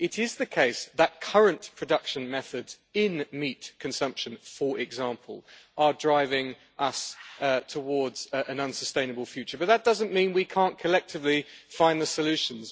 It is the case that current production methods in meat consumption, for example, are driving us towards an unsustainable future, but that doesn't mean we can't collectively find the solutions.